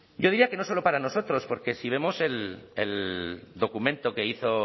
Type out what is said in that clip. yo diría que no solo para nosotros porque si vemos el documento que hizo